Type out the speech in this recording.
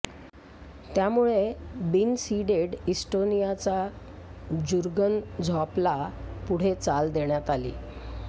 त्यामुळे बिनसीडेड इस्टोनियाचा जुर्गन झॉपला पुढे चाल देण्यात आली